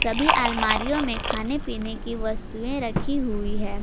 सभी अलमारीयों में खाने पीने की वस्तुएं रखी हुई है।